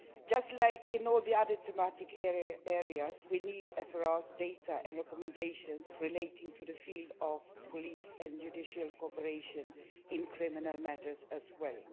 Just as in all the other thematic areas, we need FRA's data and recommendations relating to the field of police and judicial cooperation in criminal matters as well.